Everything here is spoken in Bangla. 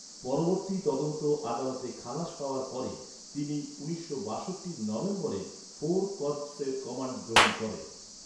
পরবর্তী তদন্ত আদালতে খালাস পাওয়ার পরে, তিনি উনিশশো বাষট্টির নভেম্বরে ফোর কর্পসের কমান্ড গ্রহণ করেন।